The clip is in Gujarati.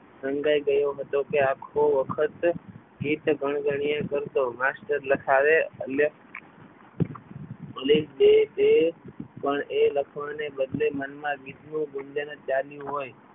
હતો કે આખો વખત ગીત ગણગણ્યા કરતો માસ્ટર લખાવે ભલે બે બે પણ એ લખવાની બદલે મનમાં ગીતનું ગુંજન જ ચાલુ હોય.